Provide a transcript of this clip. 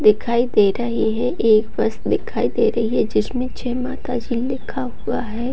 दिखाई दे रही है | एक बस दिखाई दे रही है जिसमें जय माता जी लिखा हुआ है |